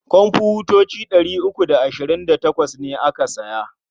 Komfutoci ɗari uku da ashirin da tawas ne aka saya.